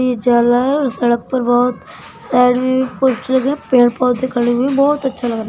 और सड़क पर बहोत साइड मे भी पोस्टर लगे हुए है। पेड़ पौधे खड़े हुए है। बहुत अच्छा लग रहा --